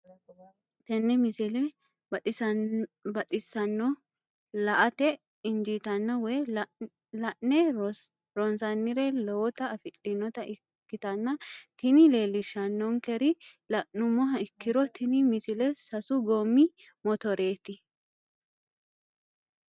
tenne misile baxisannonna la"ate injiitanno woy la'ne ronsannire lowote afidhinota ikkitanna tini leellishshannonkeri la'nummoha ikkiro tini misile sasu goommi motorraati.